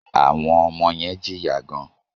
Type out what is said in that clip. Àwọn ọmọ yen jìyà gan